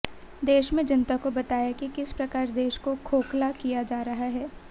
देश की जनता को बताया कि किस प्रकार देश को खोखला किया जा रहा है